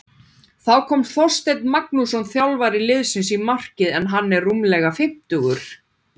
Þá kom Þorsteinn Magnússon þjálfari liðsins í markið en hann er rúmlega fimmtugur.